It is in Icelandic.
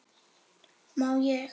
má ég!